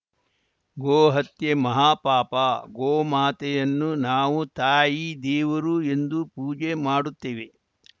ಗೋ ಹತ್ಯೆ ಮಹಾ ಪಾಪ ಗೋಮಾತೆಯನ್ನು ನಾವು ತಾಯಿ ದೇವರು ಎಂದು ಪೂಜೆ ಮಾಡುತ್ತೇವೆ